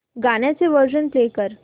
गाण्याचे version play कर